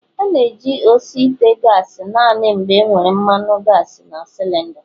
A ga-eji osi ite gasi naanị mgbe enwere mmanu gasi na cilinda